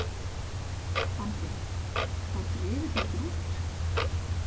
Andri: Og þá drifuð þið ykkur út?